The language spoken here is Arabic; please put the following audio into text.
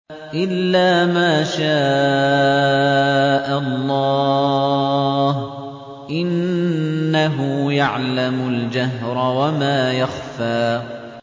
إِلَّا مَا شَاءَ اللَّهُ ۚ إِنَّهُ يَعْلَمُ الْجَهْرَ وَمَا يَخْفَىٰ